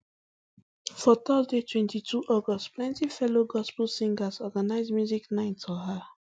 for thursday twenty-two august plenti fellow gospel singers organise music night for her